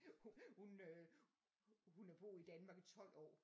Hun øh hun har boet i Danmark i 12 år